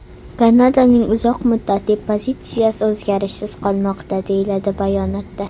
Kanadaning uzoq muddatli pozitsiyasi o‘zgarishsiz qolmoqda”, deyiladi bayonotda.